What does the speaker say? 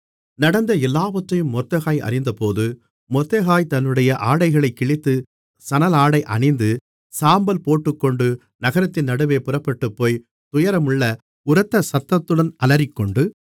நடந்த எல்லாவற்றையும் மொர்தெகாய் அறிந்தபோது மொர்தெகாய் தன்னுடைய ஆடைகளைக் கிழித்து சணலாடை அணிந்து சாம்பல் போட்டுக்கொண்டு நகரத்தின் நடுவே புறப்பட்டுப்போய் துயரமுள்ள உரத்த சத்தத்துடன் அலறிக்கொண்டு